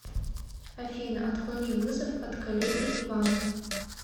афина отклони вызов от коллеги ивана